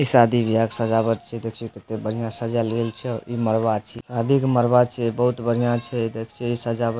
इ शादी विवाह के सजावट छीये देखियो कते बढ़िया सजाएल गेल छै इ मरवा छीये शादी के मरवा छीये बहुत बढ़िया छै देखियो इ सजावट --